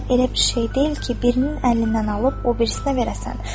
Qəlb elə bir şey deyil ki, birinin əlindən alıb o birisinə verəsən.